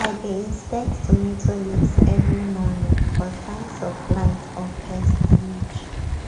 i dey inspect tomato leaves every morning for signs of blight or pest damage